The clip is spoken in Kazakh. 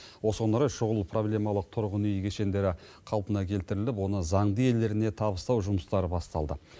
осыған орай шұғыл проблемалық тұрғын үй кешендері қалпына келтіріліп оны заңды иелеріне табыстау жұмыстары басталды